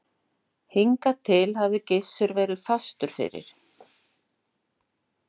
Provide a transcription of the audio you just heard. Hingað til hafði Gizur verið fastur fyrir.